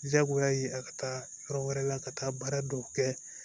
Jagoya ye a ka taa yɔrɔ wɛrɛ la ka taa baara dɔw kɛ